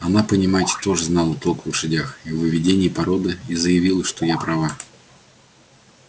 она понимаете тоже знала толк в лошадях и в выведении породы и заявила что я права